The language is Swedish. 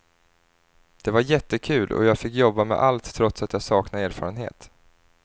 Det var jättekul, jag fick jobba med allt trots att jag saknade erfarenhet.